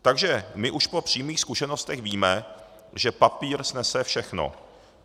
Takže my už po přímých zkušenostech víme, že papír snese všechno.